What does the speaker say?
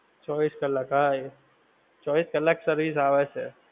ચૌવીશ કલ્લાક હા એ ચૌવીશ કલ્લાક service આવે છે